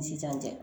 N si tɛ n cɛ